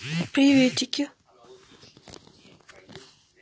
приветики